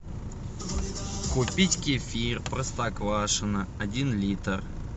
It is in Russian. купить кефир простоквашино один литр